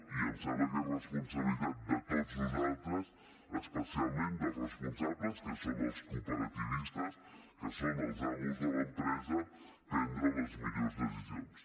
i em sembla que és responsabilitat de tots nosaltres especialment dels responsables que són els cooperativistes que són els amos de l’empresa prendre les millors decisions